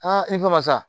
i ko masa